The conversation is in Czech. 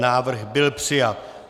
Návrh byl přijat.